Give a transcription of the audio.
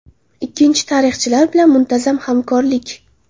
Ikkinchisi tarixchilar bilan muntazam hamkorlik.